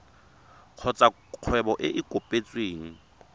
kgotsa kgwebo e e kopetsweng